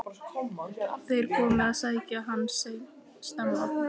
Þeir komu að sækja hann snemma.